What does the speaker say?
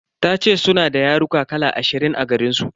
Tace suna da yaruka kala ashirin a garinsu.